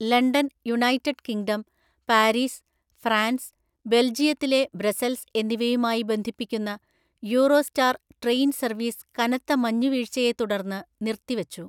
London, United Kingdom, Paris, France, ബെൽജിയത്തിലെ Brussels എന്നിവയുമായി ബന്ധിപ്പിക്കുന്ന യൂറോസ്റ്റാർ ട്രെയിൻ സർവീസ് കനത്ത മഞ്ഞുവീഴ്ചയെത്തുടർന്ന് നിർത്തിവച്ചു.